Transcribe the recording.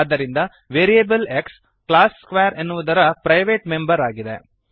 ಆದ್ದರಿಂದ variable x class square ಎನ್ನುವುದರ private member ಆಗಿದೆ